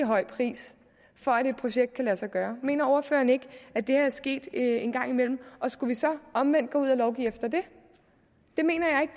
høj pris for at et projekt kunne lade sig gøre mener ordføreren ikke at det er sket en gang imellem og skulle vi så omvendt gå ud at lovgive efter det det mener jeg